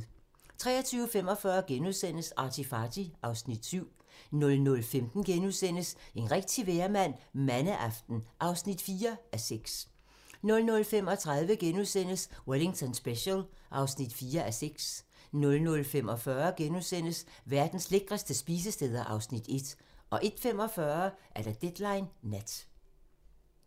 23:45: ArtyFarty (Afs. 7)* 00:15: En rigtig vejrmand - Mandeaften (4:6)* 00:35: Wellington Special (4:6)* 00:45: Verdens lækreste spisesteder (Afs. 1)* 01:45: Deadline Nat